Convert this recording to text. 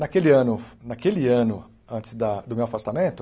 Naquele ano naquele ano, antes da do meu afastamento,